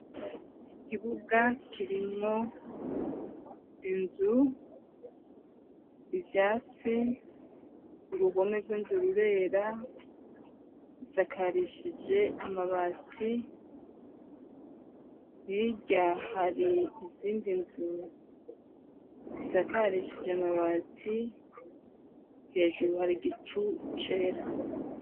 Ikibuga kirimwo inzu ivyatsi, urubome rw'inzu rurera, isakarishije amabati hirya hari izindi nzu zisakarishije amabati hejuru hari igicu cera.